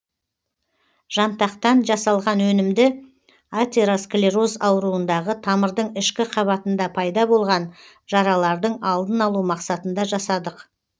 жантақтан жасалған өнімді атеросклероз ауруындағы тамырдың ішкі қабатында пайда болған жаралардың алдын алу мақсатында жасадық